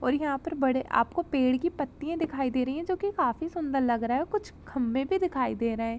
और यहाँ पर बड़े आपको पेड़ की पत्तियां दिखाई दे रही हैं जोकि काफी सुन्दर लग रही है। कुछ खम्बे भी दिखाई दे रहे हैं।